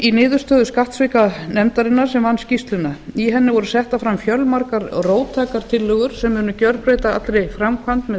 í niðurstöðum skattsvikanefndarinnar sem vann skýrsluna í henni voru settar fram fjölmargar róttækar tillögur sem munu gerbreyta allri framkvæmd með